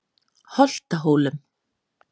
Holtahólum